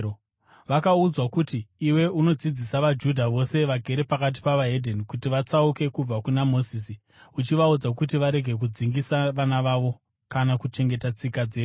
Vakaudzwa kuti iwe unodzidzisa vaJudha vose vagere pakati peveDzimwe Ndudzi kuti vatsauke kubva kuna Mozisi, uchivaudza kuti varege kudzingisa vana vavo kana kuchengeta tsika dzedu.